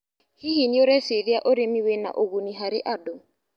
Hihi nĩũreciria ũrĩmi wĩna ũguni harĩ andũ.